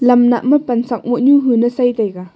lam nah ma pansak moh nyu hun sai taiga.